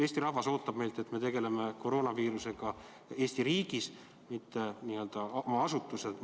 Eesti rahvas ootab meilt, et me tegeleme koroonaviirusega Eesti riigis, mitte n-ö oma asutuses.